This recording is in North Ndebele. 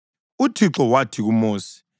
UThixo wathi kuMosi,